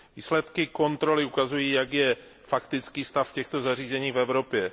Výsledky kontroly ukazují, jaký je faktický stav těchto zařízení v Evropě.